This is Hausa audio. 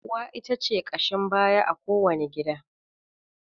Uwa ita ce ƙashin baya a ko wani gida.